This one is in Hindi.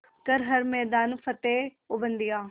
कर हर मैदान फ़तेह ओ बंदेया